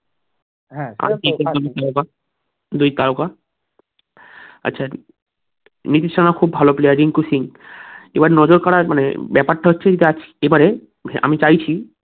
হ্যাঁ আছে খুব ভালো player রিঙ্কু সিং এবার নজর কাড়া মানে ব্যাপারটা হচ্ছে যাক এবারে আমি চাইছি